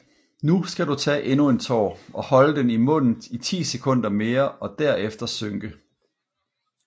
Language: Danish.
Nu skal du tage endnu en tår og holde den i munden i 10 sekunder mere og derefter synke